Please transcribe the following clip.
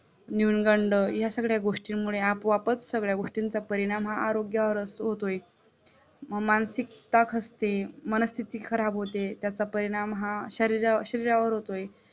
न्यूनगंड या सगळ्या गोष्टींमुळे आपोआपच सगळ्या गोष्टीचा परिणाम हा आरोग्यावर होतोय मग मानसिकता खचते मनस्तिति खराब होते त्याचा परिणाम हा शरीरावर होतोय